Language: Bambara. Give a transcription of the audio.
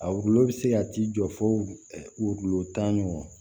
A wililw bi se ka t'i jɔ fo gulolo tan ɲɔgɔn ma